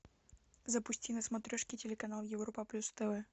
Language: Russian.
запусти на смотрешке телеканал европа плюс тв